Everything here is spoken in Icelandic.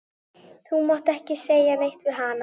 Þú mátt ekki segja neitt við hana.